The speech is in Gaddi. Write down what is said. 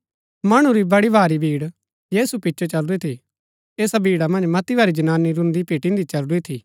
मणु री बड़ी भारी भीड़ यीशु रै पिचो चलुरी थी ऐसा भीड़ा मन्ज मती भारी जनानी रून्‍दी पिटिन्‍दी चलुरी थी